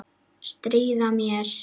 Stríða mér.